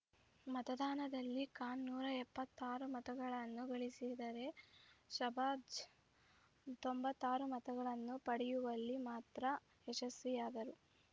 ಮತದಾನದಲ್ಲಿ ಖಾನ್‌ ನೂರ ಎಪ್ಪತ್ತಾರು ಮತಗಳನ್ನು ಗಳಿಸಿದರೆ ಶಾಬಾಜ್‌ ತೊಂಬತ್ತಾರು ಮತಗಳನ್ನು ಪಡೆಯುವಲ್ಲಿ ಮಾತ್ರ ಯಶಸ್ವಿಯಾದರು